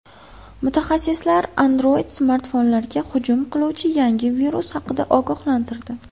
Mutaxassislar Android-smartfonlarga hujum qiluvchi yangi virus haqida ogohlantirdi.